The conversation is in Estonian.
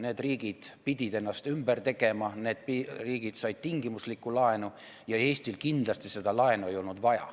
Need riigid pidid ennast ümber tegema, need riigid said tingimuslikku laenu, Eestil kindlasti seda laenu vaja ei olnud.